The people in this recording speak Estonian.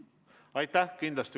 Aitäh!